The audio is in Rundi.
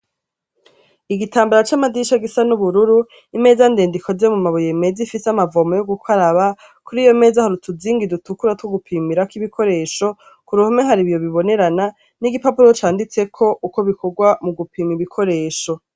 Igitamabara c'amadirisha gisa n'ubururu, imeza ndende ikoze mu mabuye meza ifise amavomo meza yo gukaraba, kuri iyo meza hari utuzingi dutukura two gupimirako ibikoresho, ku ruhome hari ibiyo bibonerana n'igipapuro canditseko uko bikorwa mu gupima ibikoresho.